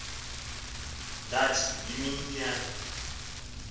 ndathi yimini yam